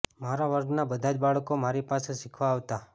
મારા વર્ગ ના બધા જ બાળકો મારી પાસે શીખવા આવતાં